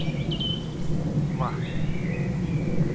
Vatni